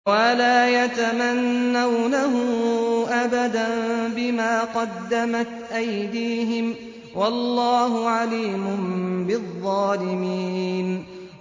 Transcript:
وَلَا يَتَمَنَّوْنَهُ أَبَدًا بِمَا قَدَّمَتْ أَيْدِيهِمْ ۚ وَاللَّهُ عَلِيمٌ بِالظَّالِمِينَ